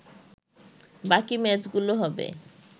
বাকি ম্যাচগুলো হবে